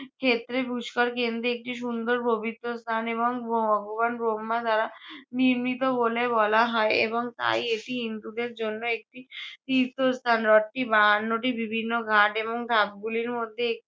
ক্ষেত্রে পুষ্কর কেন্দ্রে একটি সুন্দর পবিত্র স্থান এবং ভগবান ব্রহ্মা দ্বারা আহ নির্মিত বলে বলা হয় এবং তাই এটি হিন্দুদের জন্য একটি আহ তীর্থস্থান। হ্রদটি বাহান্নটি বিভিন্ন ঘাট এবং ধাপগুলির মধ্যে একটি